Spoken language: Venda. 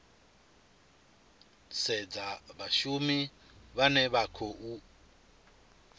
sedzwa vhashumi vhane vha khou